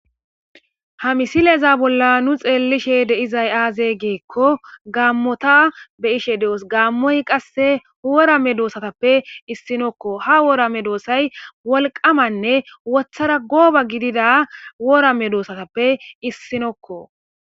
Ha misile bolla nu xelishsheni dizzay azze gikko gamoththa be'shshen de'os gamoy kasse wora medhdhosaththappe isuwakko ha wora medhdhosay wolqqamanne woththara gobba giddidda wora medhdhosaththappe isuwakko